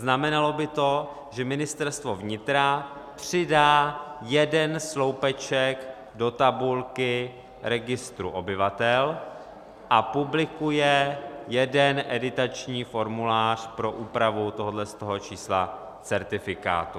Znamenalo by to, že Ministerstvo vnitra přidá jeden sloupeček do tabulky registru obyvatel a publikuje jeden editační formulář pro úpravu tohoto čísla certifikátu.